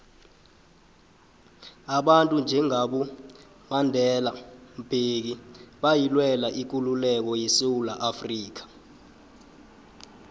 abantu njengabo mandelambeki bayilwela ikululeko yesewula afrika